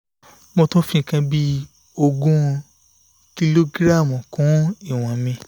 mo tún fi nǹkan bí ogún kìlógíráàmù kún un iwon mi